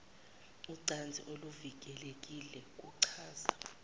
ucansi oluvikelekile kuchaza